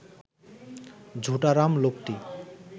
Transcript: ঝুটারাম লোকটি